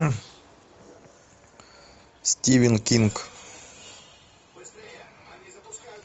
стивен кинг